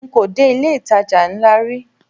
Nko dé ilé ìtajà ńlá rí.